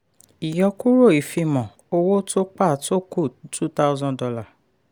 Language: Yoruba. ìyọkúrò ìfimọ́ owó tó pa tó kù two thousand dollar